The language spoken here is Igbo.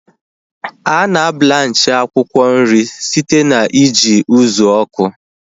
Ana blanchi akwụkwọ nri site na iji ụzụ ọkụ